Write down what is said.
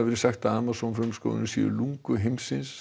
verið sagt að Amazon frumskógurinn sé lungu heimsins